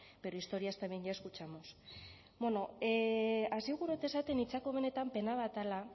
pero historias también ya escuchamos beno hasi gura dut esaten niretzako benetan pena bat dela